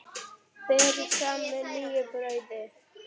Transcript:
Berið fram með nýju brauði.